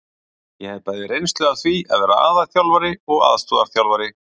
Ég hef bæði reynslu af því að vera aðalþjálfari og aðstoðarþjálfari.